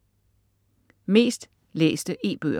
Mest læste e-bøger